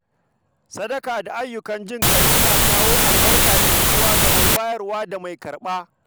Sadaka da ayyukan jin-ƙai suna kawo albarka da nutsuwa ga mai bayarwa da mai karɓa.